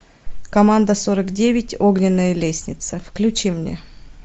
команда сорок девять огненная лестница включи мне